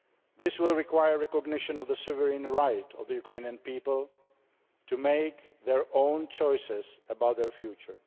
This will require recognition of the sovereign right of the Ukrainian people to make their own choices about their future.